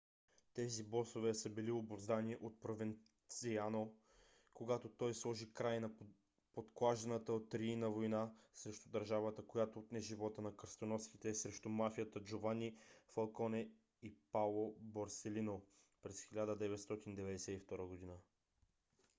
тези босове са били обуздани от провенцано когато той сложи край на подклажданата от рийна война срещу държавата която отне живота на кръстоносците срещу мафията джовани фалконе и паоло борселино през 1992 година.